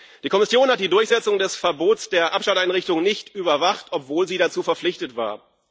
Die Kommission hat die Durchsetzung des Verbots der Abschalteinrichtungen nicht überwacht, obwohl sie dazu verpflichtet war.